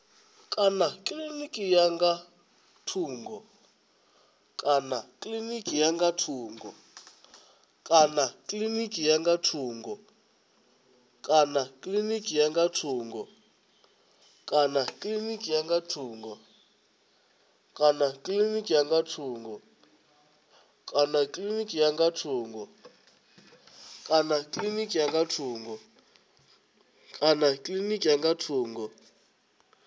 kana kilinikini ya nga thungo